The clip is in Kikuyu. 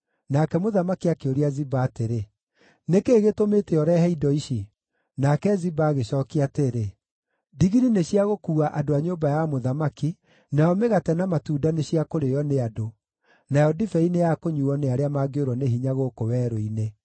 Nake mũthamaki akĩũria Ziba atĩrĩ, “Nĩ kĩĩ gĩtũmĩte ũrehe indo ici?” Nake Ziba agĩcookia atĩrĩ, “Ndigiri nĩ cia gũkuua andũ a nyũmba ya mũthamaki, nayo mĩgate na matunda nĩ cia kũrĩĩo nĩ andũ, nayo ndibei nĩyakũnyuuo nĩ arĩa mangĩũrwo nĩ hinya gũkũ werũ-inĩ.”